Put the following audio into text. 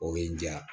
O ye n diya